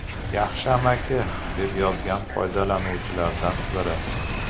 Yaxshi amaki”, deb yozgan foydalanuvchilardan biri.